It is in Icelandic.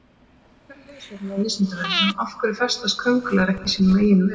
Frekara lesefni á Vísindavefnum Af hverju festast köngulær ekki í sínum eigin vef?